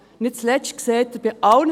Nicht zuletzt sehen Sie: